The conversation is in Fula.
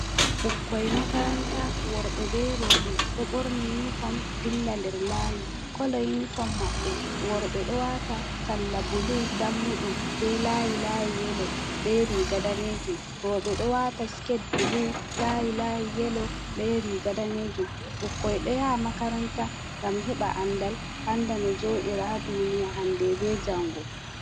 Ɓukkoy makaranta worɓe be roɓe do borni uniform dilla nder laayi, kolo uniform maɓɓe worɓe do wata salla bulu dammuɗum be laayi layi yelo, be riga danejum roɓe ɗo Watanabe skete bulu layi layi yelo be riga danejum, ɓukkoy ɗo yaha makaranta ngam heɓa andal anda no jodiraha duniya hande be jango.